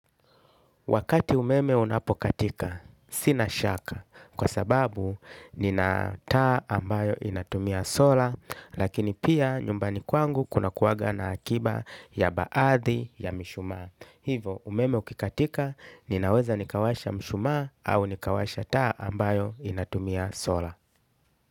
Wakati umeme unapokatika sina shaka kwa sababu nina taa ambayo inatumia sola lakini pia nyumbani kwangu kunakuwaga na akiba ya baadhi ya mishumaa hivo, umeme ukikatika, ninaweza nikawasha mshuma au nikawasha taa ambayo inatumia sola.